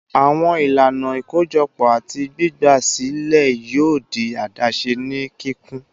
Awọn ilana ikojọpọ ati gbigba silẹ yoo di adaṣe ni kikun